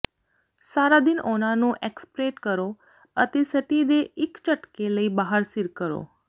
ਸਾਰਾ ਦਿਨ ਉਹਨਾਂ ਨੂੰ ਐਕਸਪ੍ਰੇਟ ਕਰੋ ਅਤੇ ਸਟੀ ਦੇ ਇੱਕ ਝਟਕੇ ਲਈ ਬਾਹਰ ਸਿਰ ਕਰੋ